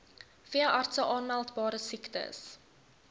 veeartse aanmeldbare siektes